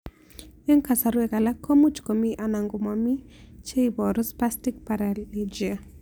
Eng' kasarwek alak ko much ko mii anan ko mii che ibaru Spastic Paralegia